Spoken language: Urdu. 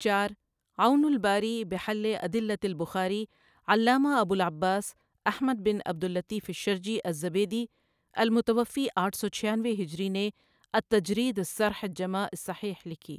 چار عون الباري بحل أدلة البخاري علامہ ابو العباس احمد بن عبد اللطیف الشرجی الزبیدی المتوفی آٹھ سو چھیانوے ہجری نے التجرید الصرح الجماع الصحیح لکھی۔